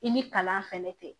I ni kalan fɛnɛ tɛ